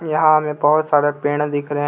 यहां हमें बहुत सारे पेड़ दिख रहे हैं.